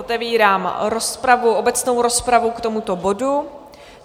Otevírám obecnou rozpravu k tomuto bodu.